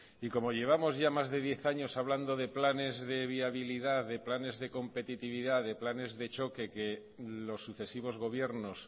y como llevamos ya más de diez años hablando de planes de viabilidad de planes de competitividad de planes de choque que los sucesivos gobiernos